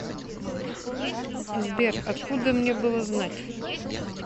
сбер откуда мне было знать